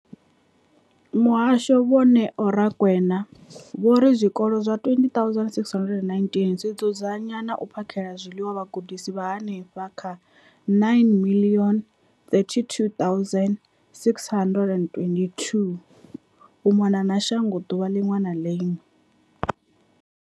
Muhasho, Vho Neo Rakwena, vho ri zwikolo zwa 20 619 zwi dzudzanya na u phakhela zwiḽiwa vhagudiswa vha henefha kha 9 032 622 u mona na shango ḓuvha ḽiṅwe na ḽiṅwe.